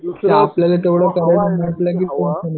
ती जी हवा आहे ना हवा